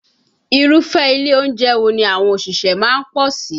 Irúfẹ́ ilé oúnjẹ wo ni àwọn òṣìṣẹ́ má ń pọ̀ sí?